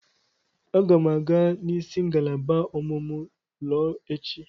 Aga m aga nisi ngalaba ọmụmụ lọọ echi.